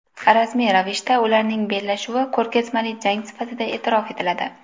Rasmiy ravishda ularning bellashuvi ko‘rgazmali jang sifatida e’tirof etiladi.